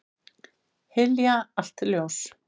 Hylja allt ljós.